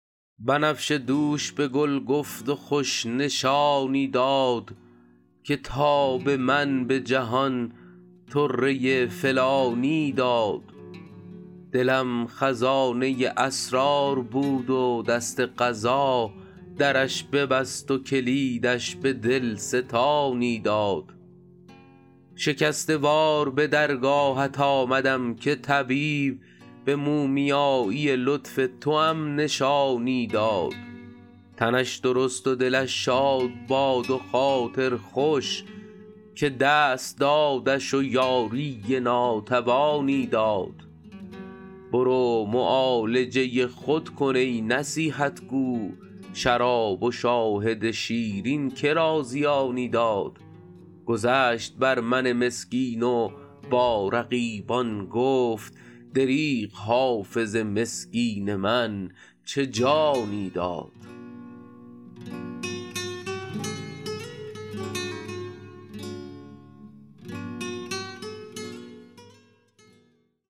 بنفشه دوش به گل گفت و خوش نشانی داد که تاب من به جهان طره فلانی داد دلم خزانه اسرار بود و دست قضا درش ببست و کلیدش به دل ستانی داد شکسته وار به درگاهت آمدم که طبیب به مومیایی لطف توام نشانی داد تنش درست و دلش شاد باد و خاطر خوش که دست دادش و یاری ناتوانی داد برو معالجه خود کن ای نصیحت گو شراب و شاهد شیرین که را زیانی داد گذشت بر من مسکین و با رقیبان گفت دریغ حافظ مسکین من چه جانی داد